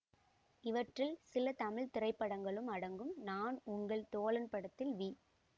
இவற்றில் சில தமிழ் திரைப்படங்களும் அடங்கும் நான் உங்கள் தோழன் படத்தில் வி